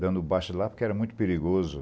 dando baixo lá, porque era muito perigoso.